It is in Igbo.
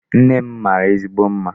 Nne m mara ezigbo mma.